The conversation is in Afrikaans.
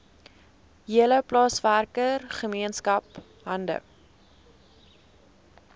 hele plaaswerkergemeenskap hande